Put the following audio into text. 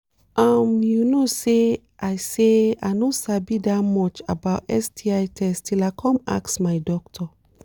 um you no say i say i no sabi that much about sti test till i come ask my doctor